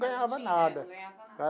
Ganhava nada. Não ganhava nada.